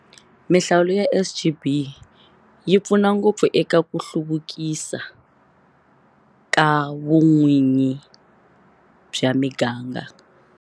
Mihlawulo ya SGB yi pfu na ngopfu eka ku hluvukisa ka vun'winyi bya miganga.